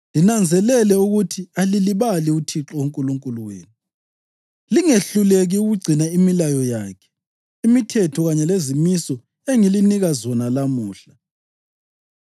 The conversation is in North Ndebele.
Linanzelele ukuthi alilibali uThixo uNkulunkulu wenu, lingehluleki ukugcina imilayo yakhe, imithetho kanye lezimiso engilinika zona lamuhla.